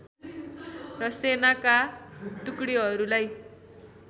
र सेनाका टुकडीहरूलाई